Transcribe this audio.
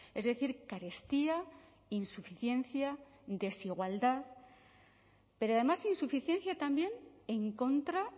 es decir carestía insuficiencia desigualdad pero además insuficiencia también en contra